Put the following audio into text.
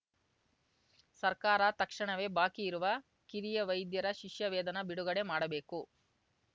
ಸರ್ಕಾರ ತಕ್ಷಣವೇ ಬಾಕಿ ಇರುವ ಕಿರಿಯ ವೈದ್ಯರ ಶಿಷ್ಯವೇತನ ಬಿಡುಗಡೆ ಮಾಡಬೇಕು